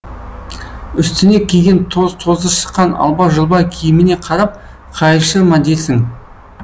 үстіне киген тоз тозы шыққан алба жұлба киіміне қарап қайыршы ма дерсің